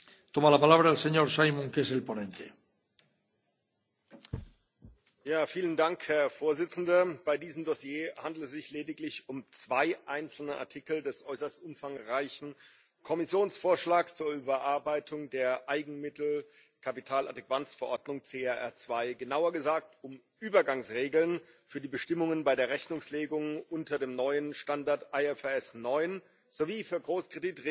Herr Präsident! Bei diesem Dossier handelt es sich lediglich um zwei einzelne Artikel des äußerst umfangreichen Kommissionsvorschlags zur Überarbeitung der Eigenmittel Kapitaladäquanzverordnung CRR 2, genauer gesagt um Übergangsregeln für die Bestimmungen bei der Rechnungslegung unter dem neuen Standard IFRS 9 sowie für Großkreditregeln.